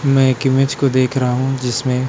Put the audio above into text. मैं एक इमेज को देख रहा हूँ जिसमें--